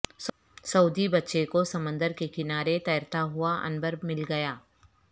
سعودی بچے کو سمندر کے کنارے تیرتا ہوا عنبر مل گیا